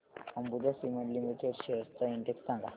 Ambuja cement limited shares चा index सांगा